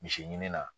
Misi ɲini na